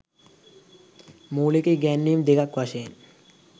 මූලික ඉගැන්වීම් දෙකක් වශයෙන්